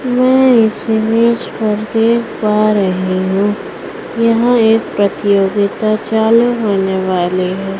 यहां एक प्रतियोगिता चालू होने वाली है।